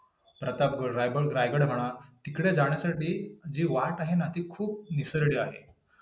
प्रतापगड, रायगड म्हणा, तिकडे जाण्यासाठी जे वाट आहे ना, ती खूप निसरडी आहे.